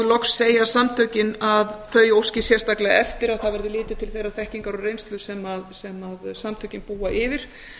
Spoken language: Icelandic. loks segja samtökin að þau óski sérstaklega eftir að það verði litið til þeirrar þekkingar og reynslu sem samtökin búa yfir